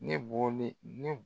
Ne bɔlen ne